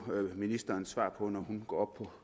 ministerens svar på når hun går